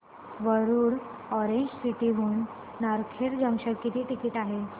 Warud orange city हून Narkhed junction किती ticket आहे